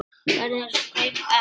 Verða þessi kaup efnd?